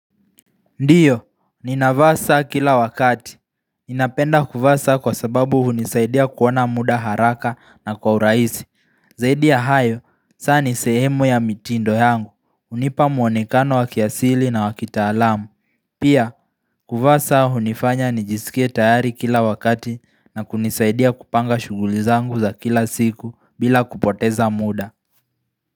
Ndiyo, ninavaa saa kila wakati. Ninapenda kuvaa saa kwa sababu hunisaidia kuona muda haraka na kwa urahisi. Zaidi ya hayo, saa nisehemu ya mitindo yangu. Hunipa muonekano wakiasili na wakitaalamu. Pia, kuvaa saa hunifanya nijisikie tayari kila wakati na kunisaidia kupanga shughuli zangu za kila siku bila kupoteza muda.